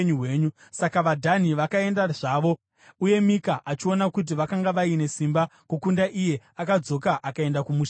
Saka vaDhani vakaenda zvavo, uye Mika, achiona kuti vakanga vaine simba kukunda iye, akadzoka akaenda kumusha kwake.